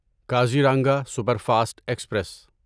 Kaziranga superfast express